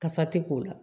Kasa ti k'o la